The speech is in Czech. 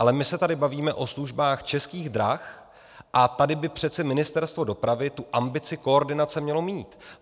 Ale my se tady bavíme o službách Českých drah, a tady by přece Ministerstvo dopravy tu ambici koordinace mělo mít.